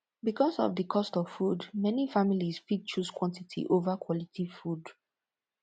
because of di cost of food many families fit choose quantity over quality food